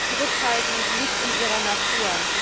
Zurückhaltung liegt in ihrer Natur.